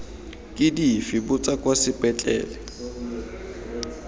ke dife botsa kwa sepetlele